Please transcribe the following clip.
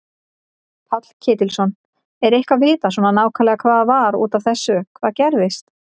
Páll Ketilsson: Er eitthvað vitað svona nákvæmlega hvað var út af þessu hvað gerðist?